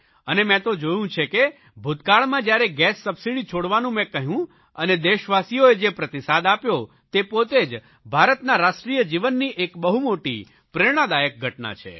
અને મેં તો જોયું છે કે ભૂતકાળમાં જયારે ગેસ સબસીડી છોડવાનું મેં કહ્યું અને દેશવાસીઓએ જે પ્રતિસાદ આપ્યો તે પોતે જ ભારતના રાષ્ટ્રીય જીવનની એક બહુ મોટી પ્રેરણાદાયક ઘટના છે